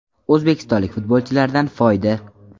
O‘zbekistonlik futbolchilardan foyda.